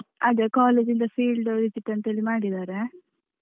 ಅದು college ಯಿಂದ field visit ಅಂತ ಹೇಳಿ ಮಾಡಿದ್ದಾರೆ.